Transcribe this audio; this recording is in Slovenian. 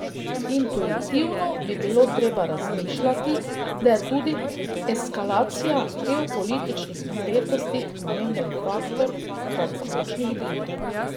Intuitivno bi bilo treba razmišljati, da je tudi eskalacija geopolitičnih napetosti pomemben faktor kratkoročnih gibanj.